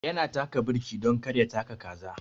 Ya na taka birki dan kar ya taka kaza.